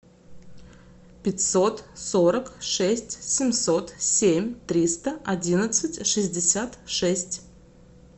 пятьсот сорок шесть семьсот семь триста одинадцать шестьдесят шесть